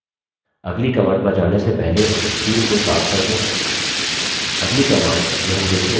अगली command पर जाने से पहले screen को साफ कर दें